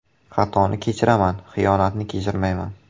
“Xatoni kechiraman, xiyonatni kechirmayman.